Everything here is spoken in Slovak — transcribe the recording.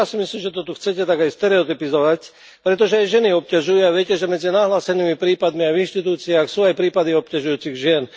Ale ja si myslím, že to tu chcete aj tak stereotypizovať, pretože aj ženy obťažujú a viete, že medzi nahlásenými prípadmi, aj v inštitúciách, sú aj prípady obťažujúcich žien.